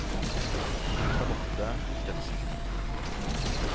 Charlotte Thorstensen